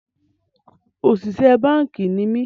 Òṣìṣẹ́ báànkì ni mí